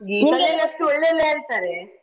ಅಷ್ಟು ಒಳ್ಳೆದಿಲ್ಲಾ ಅಂತ ಹೇಳ್ತಾರೆ.